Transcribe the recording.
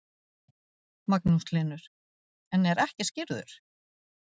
Magnús Hlynur: En er ekki skírður?